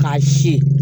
K'a si